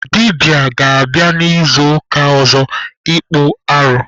Dibịa ga-abịa n'izuụka ọzọ ịkpụ arụ.